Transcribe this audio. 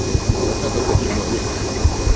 вот а пока только отжимания